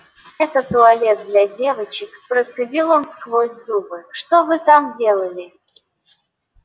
это туалет для девочек процедил он сквозь зубы что вы там делали